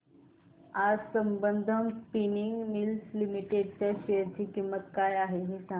आज Sambandam spinning mills limited च्या share ची किंमत काय आहे हे सांगा